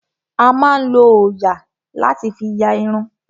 A máa ń lo òòyà láti fí ya irun.